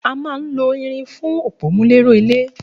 A máa ń lo irin fún òpómúléró ilé